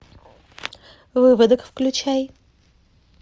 выводок включай